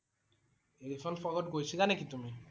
Elephant Fall গৈছিলা নেকি তুমি?